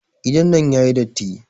Gidan nan yayi datti.